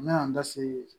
N bɛna n da se